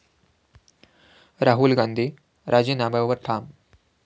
राहुल गांधी राजीनाम्यावर ठाम?